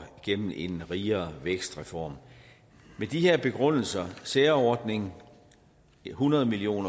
gennem en rigere vækstreform med de her begrundelser særordning hundrede million